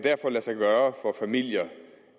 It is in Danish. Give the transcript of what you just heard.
lade sig gøre for familier